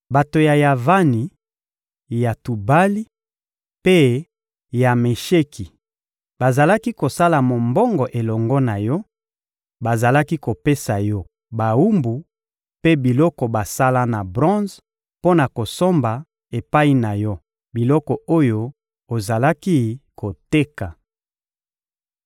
Bato ya Yavani, ya Tubali mpe ya Mesheki bazalaki kosala mombongo elongo na yo; bazalaki kopesa yo bawumbu mpe biloko basala na bronze mpo na kosomba epai na yo biloko oyo ozalaki koteka.